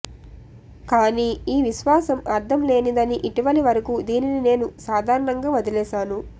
కానీ ఈ విశ్వాసం అర్థంలేనిదని ఇటీవలి వరకూ దీనిని నేను సాధారణంగా వదలేశాను